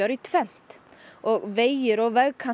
í tvennt og vegir og